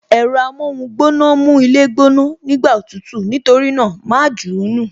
Ẹ̀rọ amóhun gbóná mú ilé gbóná, nígbà òtútù, nítorí náà, ma jù ú nù